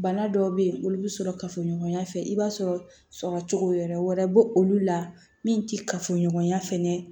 Bana dɔw bɛ yen olu bɛ sɔrɔ kafoɲɔgɔnya fɛ i b'a sɔrɔ sɔrɔ cogo wɛrɛ bɛ olu la min tɛ kafoɲɔgɔnya fɛnɛ